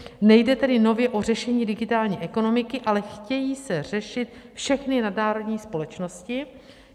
Nejde tedy nově o řešení digitální ekonomiky, ale chtějí se řešit všechny nadnárodní společnosti.